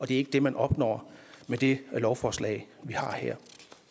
det er ikke det man opnår med det lovforslag vi har her